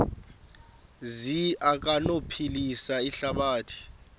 zi anokuphilisa ihlabathi